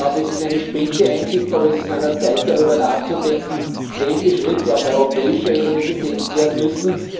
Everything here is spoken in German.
Es ist eine späte Einsicht, aber es ist an der Zeit, darüber nachzudenken, welche Schritte auf europäischer Ebene gesetzt werden müssen.